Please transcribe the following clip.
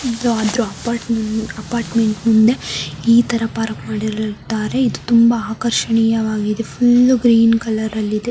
ಇದು ಅದು apartment apartment ಮುಂದೆ ಈ ತರ ಪಾರ್ಕ್ ಮಾಡಿರುತ್ತಾರೆ ಇದು ತುಂಬಾ ಆಕರ್ಷಣೆಯವಾಗಿದೆ ಫುಲ್ಲು ಗ್ರೀನ್ ಕಲರ ಲ್ಲಿ ಇದೆ.